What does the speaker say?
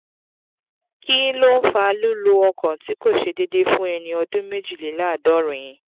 kí ló ń fa lulu ọkàn ti ko se deede fun eni ọdún méjìléláàádọ́rin?